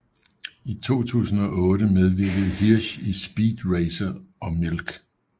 I 2008 medvirkede Hirsch i Speed Racer og Milk